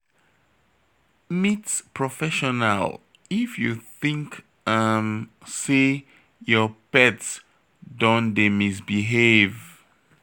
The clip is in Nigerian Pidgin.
Meet professional if you think um sey your pet don dey misbehave